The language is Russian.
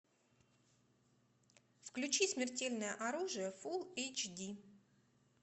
включи смертельное оружие фул эйч ди